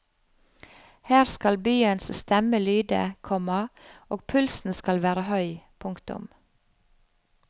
Her skal byens stemme lyde, komma og pulsen skal være høy. punktum